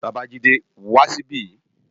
Babajide, wá si bi